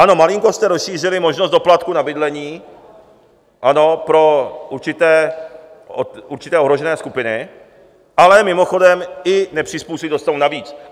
Ano, malinko jste rozšířili možnost doplatku na bydlení, ano, pro určité ohrožené skupiny, ale mimochodem, i nepřizpůsobiví dostanou navíc.